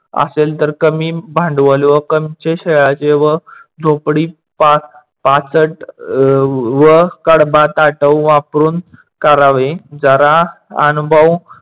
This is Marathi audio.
असेल तर कमी भांडवल व कमचे शेळ्याचे व झोपडी पाचट अह व कडबा ताटव वापरून करावे. जरा अनुभव